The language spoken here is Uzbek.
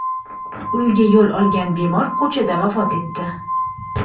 uyiga yo‘l olgan bemor ko‘chada vafot etdi.